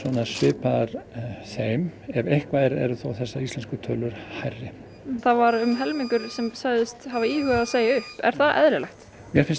svipaðar þeim en ef eitthvað er þá eru þessar íslensku tölur hærri það var um helmingur sem sagðist hafa íhugað að segja upp er það eðlilegt mér finnst